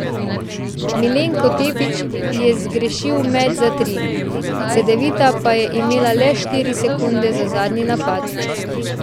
Milenko Tepić je zgrešil met za tri, Cedevita pa je imela le štiri sekunde za zadnji napad.